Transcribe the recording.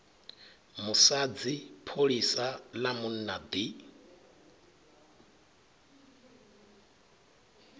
musadzi pholisa ḽa munna ḓi